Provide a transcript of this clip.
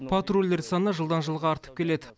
патрульдер саны жылдан жылға артып келеді